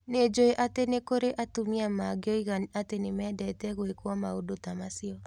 Nĩ njũĩ atĩ nĩ kũrĩ atumia mangoiga atĩ nĩ mendete gwĩkwo maũndũ ta macio.